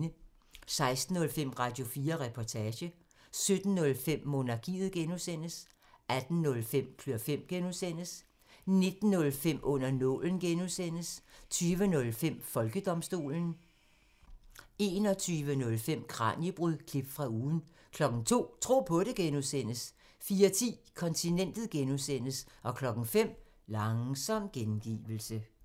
16:05: Radio4 Reportage 17:05: Monarkiet (G) 18:05: Klør fem (G) 19:05: Under nålen (G) 20:05: Folkedomstolen 21:05: Kraniebrud – klip fra ugen 02:00: Tro på det (G) 04:10: Kontinentet (G) 05:00: Langsom gengivelse